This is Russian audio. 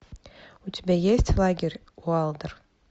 у тебя есть лагерь уайлдер